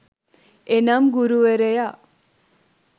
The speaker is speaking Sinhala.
එනම් ගුරුවරයා